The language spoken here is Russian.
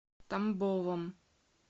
тамбовом